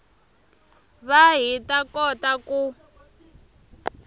va hi ta kota ku